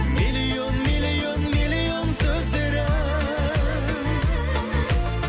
миллион миллион миллион сөздері